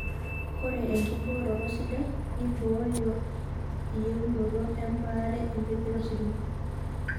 Ore enkibooroto sidai neibooyo eyieunoto ebaare empejoto ositima.